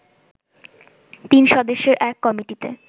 তিন সদস্যের এক কমিটি